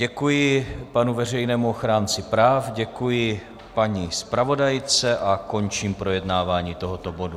Děkuji panu veřejnému ochránci práv, děkuji paní zpravodajce a končím projednávání tohoto bodu.